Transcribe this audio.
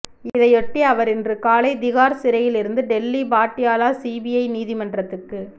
இதையொட்டி அவர் இன்று காலை திகார் சிறையிலிருந்து டெல்லி பாட்டியாலா சிபிஐ நீதிமன்றத்துக்கு